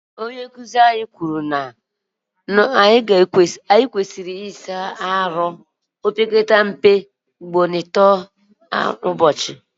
onye nkuzi anyi kwuru na anyi kwesiri ina asa ahu opekata mpe ugboro ato kwa ubochi